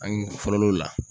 An fɔlɔ l'o la